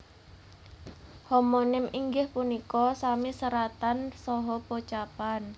Homonim inggih punika sami seratan saha pocapan